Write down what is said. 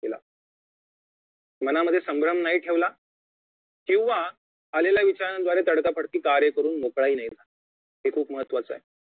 केला मनामध्ये संभ्रम नाही ठेवला किंवा आलेल्या विचारांद्वारे तडकाफडकी कार्य करुन मोकळा ही नाही झाला हे खूप महत्वाचं आहे